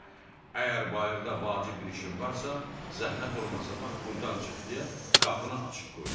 Mən də əgər bayırda vacib bir işim varsa, zəhmət olmasa bax burdan çıx deyə qapını açıq qoyurdum.